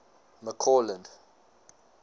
mccausland